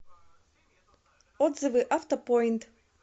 отзывы автопоинт